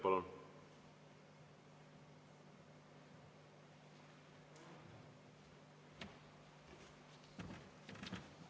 Palun!